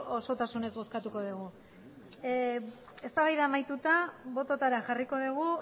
osotasunez bozkatuko dugu eztabaida amaituta bototara jarriko dugu